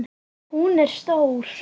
Hún er stór.